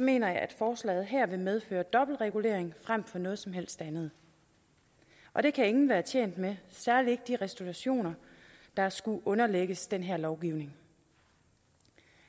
mener jeg at forslaget her vil medføre en dobbeltregulering frem for noget som helst andet og det kan ingen være tjent med særlig ikke de restaurationer der skulle underlægges den her lovgivning